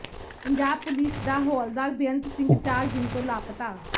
Punjab police ਦਾ ਹੌਲਦਾਰ ਬੇਅੰਤ ਸਿੰਘ ਚਾਰ ਦਿਨ ਤੋਂ ਲਾਪਤਾ